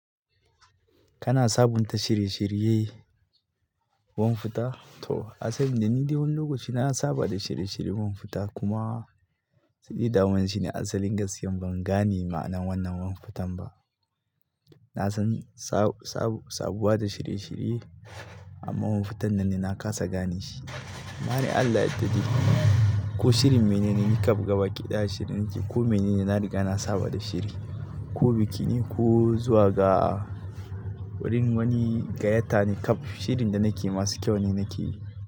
Kana sabunta shiri shiriyayen wofuta? To asalin da ni dai wani lokaci na saba da shiri shiri wofuta kuma tsidida wancine asalin gaskiya ban gane ma'anan wannan wofutan ba. Na san sa-sa-sabuwa da shiri shiri amma wofutan nan ina kasa gane shi. Mane Allah ya dade kuma. Ko shirin mene ne nake gabawa ƙiɗa, shiri nake ko mene ne na riga na saba da shiri, ko biki ne ko zuwa ga wurin wani gayyata nake, shirin da nake yi masu kyau ne nake yi.